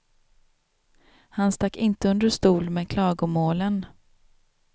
Han stack inte under stol med klagomålen.